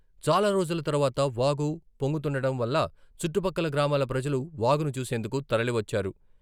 చాలా రోజుల తర్వాత వాగు పొంగుతుండటం వల్ల చుట్టుపక్కల గ్రామాల ప్రజలు వాగును చూసేందుకు తరలివచ్చారు.